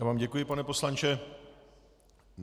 Já vám děkuji, pane poslanče.